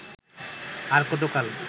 আর কতকাল